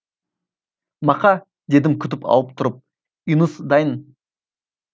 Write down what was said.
мақа дедім күтіп алып тұрып үйіңіз дайын